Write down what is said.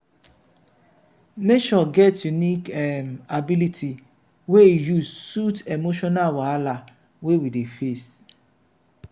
nature get unique um ability wey e use soothe emotional wahala wey we dey face.